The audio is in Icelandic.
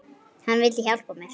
Hann vildi hjálpa mér.